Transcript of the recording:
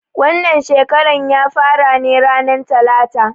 Wannan shekaran ya fara ne ranan talata.